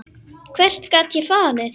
Hvert gat ég farið?